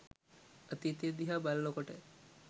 අතීතය දිහා බලන කොට